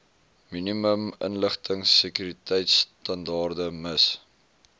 minimum inligtingsekuriteitstandaarde miss